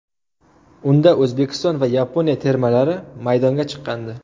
Unda O‘zbekiston va Yaponiya termalari maydonga chiqqandi.